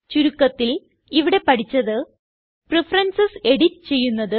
ചുരുക്കത്തിൽ ഇവിടെ പഠിച്ചത് പ്രഫറൻസസ് എഡിറ്റ് ചെയ്യുന്നത്